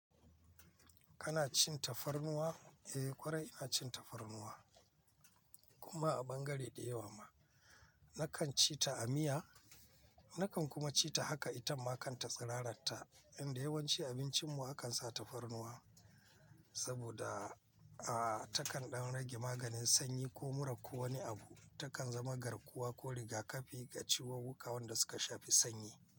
Kana cin tafarnuwa? Eh, ƙwarai ina cin tafarnuwa. Kuma a bangare ɗaya wa ma nakan ci ta a miya, nakan kuma ci ta haka itamma kan ta tsiraratta. Inda yawanci abincinmu akan sa tafarnuwa saboda, aa takan ɗan rage maganin sanyi ko mura ko wani abu. Takan zama garkuwa ko riga-kafi ga ciwon wuƙa wanda suka shafi sanyi.